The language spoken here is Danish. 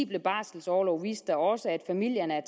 barselorlov viste da også at familierne